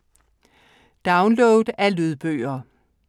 Download af lydbøger